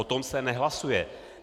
O tom se nehlasuje.